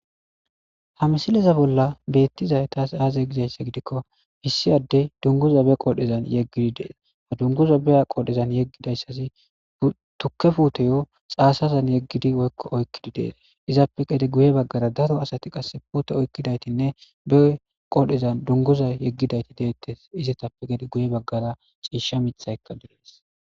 ha msileza bolla beettizay tas aaze gizaysse gidikko missi addey dunguza be qodhezan yeggidi dees ha dunguza beya qodhezan yeggidayssazi tuke puteyo xaasazan yeggidi woykko oykkidi dees izappe gede guye baggara daro asati qass puute oykkidaytinne be qodhezan dunguza yeggidayti deettes izetappe gede guye baggara ciisha mithaykka direes